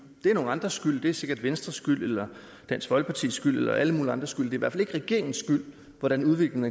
det er nogle andres skyld det er sikkert venstres skyld eller dansk folkepartis skyld eller alle mulige andres skyld i hvert fald ikke regeringens skyld hvordan udviklingen